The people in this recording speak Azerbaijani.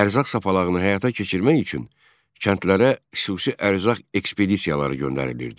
Ərzaq sapalağını həyata keçirmək üçün kəndlərə xüsusi ərzaq ekspedisiyaları göndərilirdi.